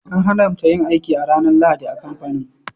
An haramta yin aiki a ranar Lahadi a kamfanin.